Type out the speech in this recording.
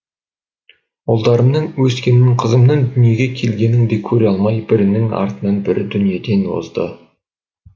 ұлдарымның өскенін қызымның дүниеге келгенін де көре алмай бірінің артынан бірі дүниеден озды